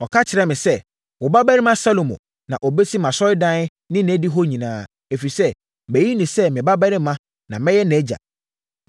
Ɔka kyerɛɛ me sɛ, ‘Wo babarima Salomo na ɔbɛsi mʼasɔredan ne nʼadihɔ nyinaa, ɛfiri sɛ mayi no sɛ me babarima na mɛyɛ nʼagya.